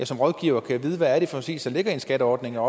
som rådgiver kan vide hvad det præcis er der ligger i en skatteordning og